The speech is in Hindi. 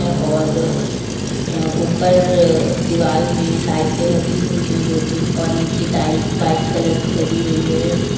और अ ऊपर दीवाल में लाइटे लगी हुई हैं दो तीन और नीचे टाइल्स व्हाइट कलर की लगी हुई है।